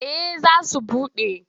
Eh za su buɗe.